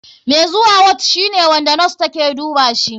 Mai zuwa ward shine wanda nos take dubashi.